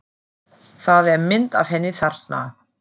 Það er mynd af henni þarna.